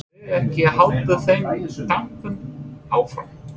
Verðum við ekki að halda þeim dampi áfram?